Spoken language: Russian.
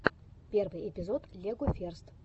первый эпизод легоферст